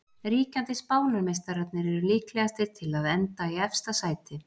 Ríkjandi Spánarmeistararnir eru líklegastir til að enda í efsta sæti.